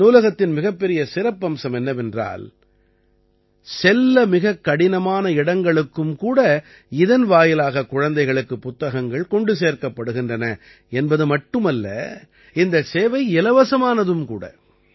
இந்த நூலகத்தின் மிகப்பெரிய சிறப்பம்சம் என்னவென்றால் செல்ல மிகக் கடினமான இடங்களுக்கும் கூட இதன் வாயிலாக குழந்தைகளுக்குப் புத்தகங்கள் கொண்டு சேர்க்கப்படுகின்றன என்பது மட்டுமல்ல இந்தச் சேவை இலவசமானதும் கூட